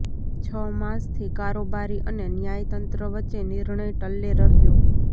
છ માસથી કારોબારી અને ન્યાયતંત્ર વચ્ચે નિર્ણય ટલ્લે રહ્યો